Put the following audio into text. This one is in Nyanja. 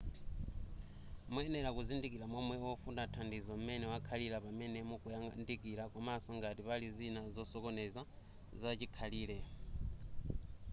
muyenera kuzindikira momwe wofuna thandizo m'mene wakhalira pamene mukumuyandikira komaso ngati pali zina zosokoneza zachikhalire